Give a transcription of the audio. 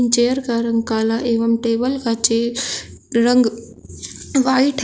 Chair का रंग काला एवं टेबल का रंग व्हाइट है।